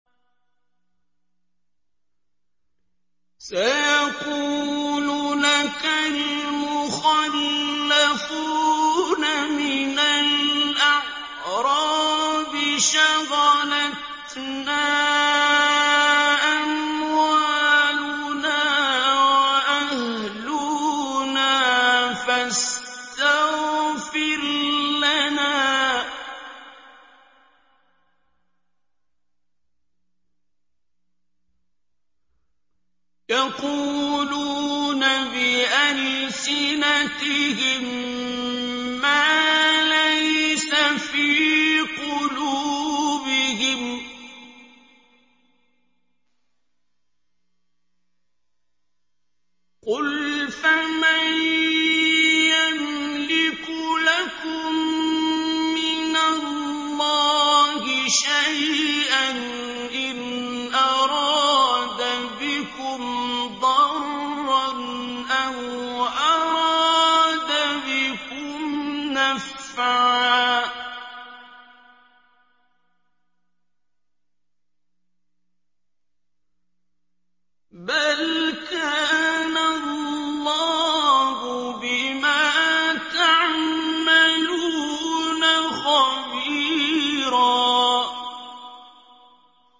سَيَقُولُ لَكَ الْمُخَلَّفُونَ مِنَ الْأَعْرَابِ شَغَلَتْنَا أَمْوَالُنَا وَأَهْلُونَا فَاسْتَغْفِرْ لَنَا ۚ يَقُولُونَ بِأَلْسِنَتِهِم مَّا لَيْسَ فِي قُلُوبِهِمْ ۚ قُلْ فَمَن يَمْلِكُ لَكُم مِّنَ اللَّهِ شَيْئًا إِنْ أَرَادَ بِكُمْ ضَرًّا أَوْ أَرَادَ بِكُمْ نَفْعًا ۚ بَلْ كَانَ اللَّهُ بِمَا تَعْمَلُونَ خَبِيرًا